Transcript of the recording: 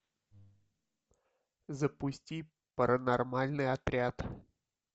запусти паранормальный отряд